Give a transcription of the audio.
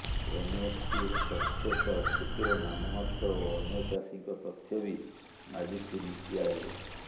ଏମଏସପିର ତଥ୍ୟ ସହ କ୍ଷୁଦ୍ର ନାମମାତ୍ର ଓ ଅନ୍ୟ ଚାଷୀଙ୍କ ତଥ୍ୟ ବି ମାଗିଛି ନୀତି ଆୟୋଗ